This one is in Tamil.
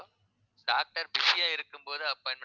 doctor busy ஆ இருக்கும்போது appointment